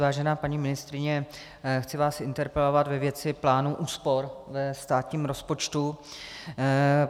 Vážená paní ministryně, chci vás interpelovat ve věci plánů úspor ve státním rozpočtu.